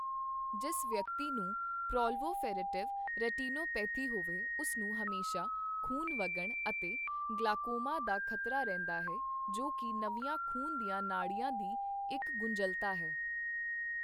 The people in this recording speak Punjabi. ਜਿਸ ਵਿਅਕਤੀ ਨੂੰ ਪ੍ਰੋਲਵੋਫੇਰੇਟਿਵ ਰੋਟੀਨੋਪੇਥੀ ਹੋਵੇ ਉਸਨੂੰ ਹਮੇਸ਼ਾ ਖ਼ੂਨ ਵਗਣ ਅਤੇ ਗਲਾਕੋਮਾ ਦਾ ਖ਼ਤਰਾ ਰਹਿੰਦਾ ਹੈ ਜੋ ਕੀ ਨਵੀਆਂ ਖ਼ੂਨ ਦੀਆਂ ਨਾੜੀਆਂ ਦੀ ਇੱਕ ਗੁੰਝਲਤਾ ਹੈ।